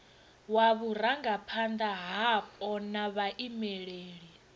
wa vhurangaphanda hapo na vhaimeleli